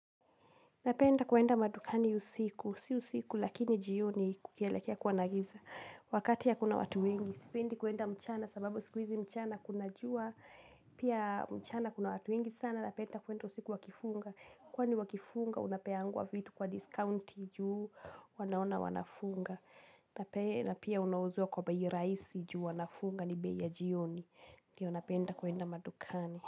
Napenda kwenda madukani usiku, si usiku lakini jioni, kukielekea kuwa na giza. Wakati hakuna watu wengi. Sipendi kwenda mchana, kwa sababu siku hizi mchana kuna jua. Pia mchana kuna watu wengi sana, napenda kwenda usiku wakifunga. Kwani wakifunga unapewa vitu kwa discounti, kwa kuwa wanaona wanafunga. Na pia unauziwa kwa bei rahisi kwa kuwa wanafunga, ni bei ya jioni. Ndio napenda kwenda madukani.